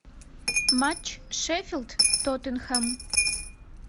матч шеффилд тоттенхэм